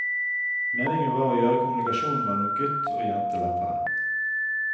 Meningen var å gjøre kommunikasjonen mellom gutt og jente lettere.